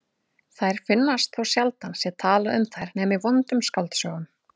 Þær finnast þótt sjaldan sé talað um þær nema í vondum skáldsögum.